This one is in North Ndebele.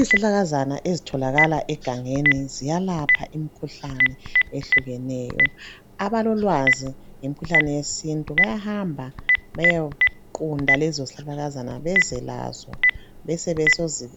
Izihlahlakazana ezitholakala egangeni ziyalapha imikhuhlane ehlukeneyo. Abalolwazi ngemikhuhlane yesintu bayahamba beyequnta lezo zihlahlakazana bezo lazo ,